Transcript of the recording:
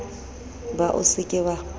ba o se ke wa